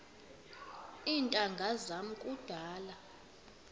iintanga zam kudala